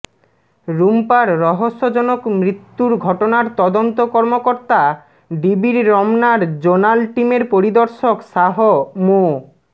রুম্পার রহস্যজনক মৃত্যুর ঘটনার তদন্ত কর্মকর্তা ডিবির রমনার জোনাল টিমের পরিদর্শক শাহ মো